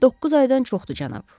Doqquz aydan çoxdur, cənab.